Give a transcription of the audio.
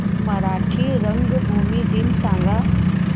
मराठी रंगभूमी दिन सांगा